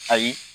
Ayi